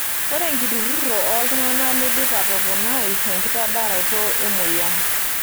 Ore enkiturruroto ooltung'ana neidim atoponai enkitadaroto emoyian.